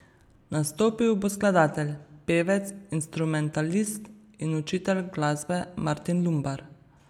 Nastopil bo skladatelj, pevec, instrumentalist in učitelj glasbe Martin Lumbar.